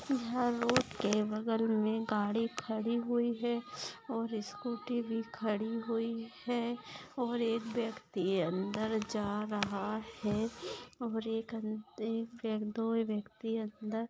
यहाँ रोड के बगल मे गाड़ी खड़ी हुई है और स्कूटी भी खड़ी हूई है और एक व्यक्ति अंदर जा रहा है और एक अन दो व्यक्ति अंदर--